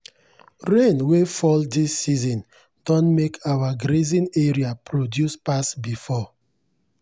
rain wey fall this season don make our grazing area produce pass before.